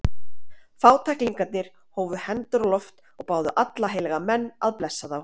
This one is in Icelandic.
Fátæklingarnir hófu hendur á loft og báðu alla heilaga menn að blessa þá.